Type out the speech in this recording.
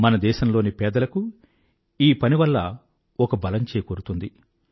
మన దేశంలోని పేదలకు ఈ పని వల్ల ఒక బలం చేకూరుతుంది